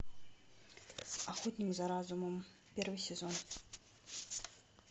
охотник за разумом первый сезон